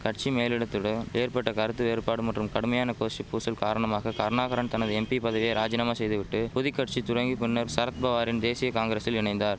கட்சி மேலிடத்துடு ஏற்பட்ட கருத்து வேறுபாடு மற்றும் கடுமையான கோஷ்டி பூசல் காரணமாக கருணாகரன் தனது எம்பி பதவியை ராஜினாமா செய்து விட்டு பொதிக்கட்சி துடங்கி பின்னர் சரத்பவாரின் தேசிய காங்கிரசில் இணைந்தார்